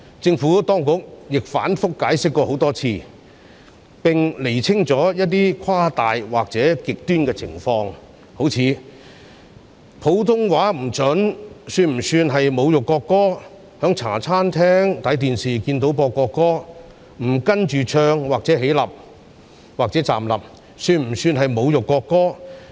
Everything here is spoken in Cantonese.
政府當局亦多次反覆解釋，並釐清了一些誇大或極端的情況，例如唱國歌時普通話說得不標準，以及在茶餐廳看到播放國歌時不跟着唱或站立，會否被視為侮辱國歌？